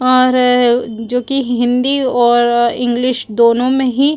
और जो की हिन्दी ओर इंग्लिश दोनों मे ही --